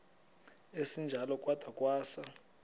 esinjalo kwada kwasa